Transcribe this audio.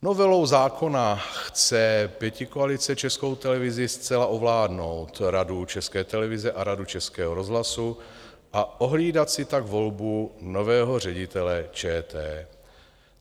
Novelou zákona chce pětikoalice Českou televizi zcela ovládnout, Radu České televize a Radu Českého rozhlasu, a ohlídat si tak volbu nového ředitele ČT.